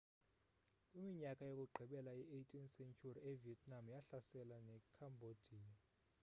kwiminyaka yokugqibela ye-18 sentyhuri ivietnam yahlasela nekhambodiya